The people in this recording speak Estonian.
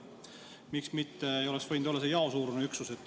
Miks ei oleks võinud olla see jaosuurune üksus?